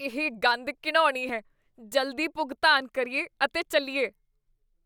ਇਹ ਗੰਧ ਘਿਣਾਉਣੀ ਹੈ। ਜਲਦੀ ਭੁਗਤਾਨ ਕਰੀਏ ਅਤੇ ਚੱਲੀਏ ।